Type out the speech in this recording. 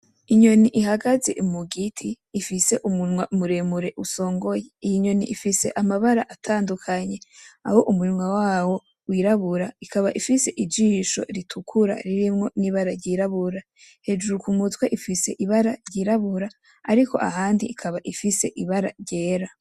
Inyoni ihagaze mu giti ifise umunwa muremure usongoye, iyi nyoni ifise amabara atandukanye aho umunwa wayo wirabura , ikaba ifise ijisho ritukura ririmwo n'ibara ryirabura, hejuru kumutwe ifise ibara ryirabura ariko ahandi ikaba ifise ibara ryera.